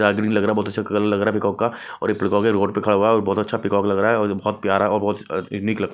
रागनी लग रहा बहुत अच्छा कलर लग रहा पीकॉक का और ये पीकॉक ये रोड पे खड़ा हुआ और बहुत अच्छा पीकॉक लग रहा है और बहुत प्यारा और बहुत यूनिक कलर --